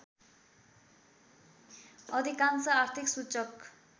अधिकांश आर्थिक सूचक